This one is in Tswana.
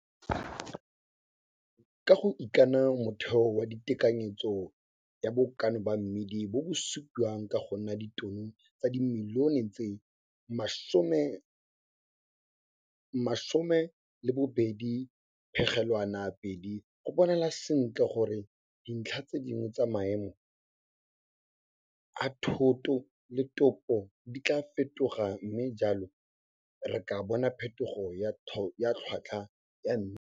Ka go ikana ka motheo wa tekanyetso ya bokana ba mmidi bo bo supiwang go ka nna ditono tsa dimilione tse 12,2, go bonala sentle gore dintlha tse dingwe tsa maemo a thoto le topo di tlaa fetoga mme jalo re ka bona phethogo ya tlhotlhwa ya mmidi.